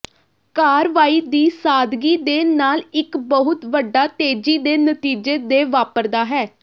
ਕਾਰਵਾਈ ਦੀ ਸਾਦਗੀ ਦੇ ਨਾਲ ਇੱਕ ਬਹੁਤ ਵੱਡਾ ਤੇਜ਼ੀ ਦੇ ਨਤੀਜੇ ਦੇ ਵਾਪਰਦਾ ਹੈ